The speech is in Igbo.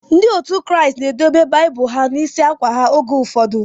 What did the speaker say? Ndị otu Kraịst na edobe Baịbụl ha n'isi akwa ha oge ụfọdụ.